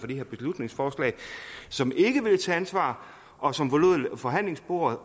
det her beslutningsforslag som ikke ville tage ansvar og som forlod forhandlingsbordet